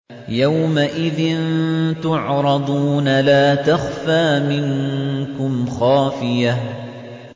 يَوْمَئِذٍ تُعْرَضُونَ لَا تَخْفَىٰ مِنكُمْ خَافِيَةٌ